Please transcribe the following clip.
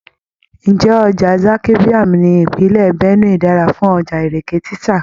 Ǹjẹ́ ọjà Zaki Biam ní ìpínlẹ̀ Benue dára fún Ìrèké títà?